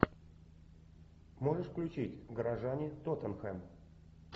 можешь включить горожане тоттенхэм